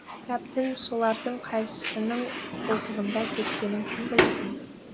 кітаптың солардың қайсының қолтығында кеткенін кім білсін